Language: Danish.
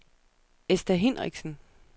Esther Hinrichsen